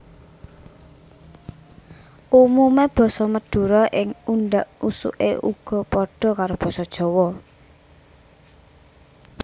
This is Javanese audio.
Umumé basa Madura ing undhak usuké uga padha karo Basa Jawa